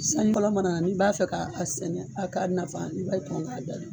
Sanji fɔlɔ mana na n'i b'a fɛ k'a a sɛnɛ a k'a nafa i b'a k'a jaabi.